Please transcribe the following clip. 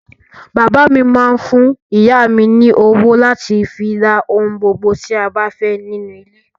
Bàbá mi máá ń fún ìyá mi ní owó láti fi ra ohun gbogbo tí a bá fẹ́ nínú ilé